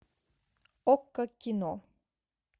окко кино